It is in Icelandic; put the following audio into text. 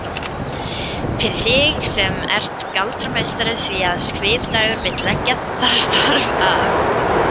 Fyrir þig sem ert galdrameistari því að Svipdagur vill leggja það starf af.